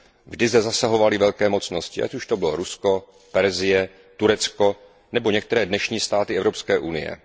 Vždy zde zasahovaly velké mocnosti, ať už to bylo Rusko, Persie, Turecko nebo některé dnešní státy Evropské unie.